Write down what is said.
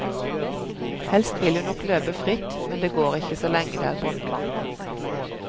Helst vil hun nok løpe fritt, men det går ikke så lenge det er båndtvang.